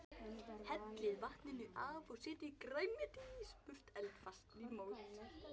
Hellið vatninu af og setjið grænmetið í smurt eldfast mót.